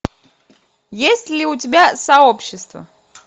есть ли у тебя сообщество